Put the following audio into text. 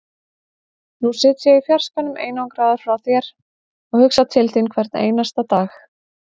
Nú sit ég í fjarskanum, einangraður frá þér, og hugsa til þín hvern einasta dag.